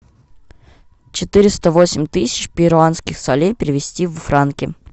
четыреста восемь тысяч перуанских солей перевести в франки